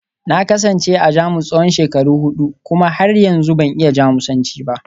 Na kasance a Jamus tsawon shekaru hudu kuma har yanzu ban iya Jamusanci ba